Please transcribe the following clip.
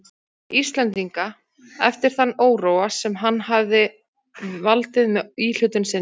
Íslendinga eftir þann óróa, sem hann hefði valdið með íhlutun sinni.